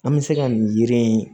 An bɛ se ka nin yiri in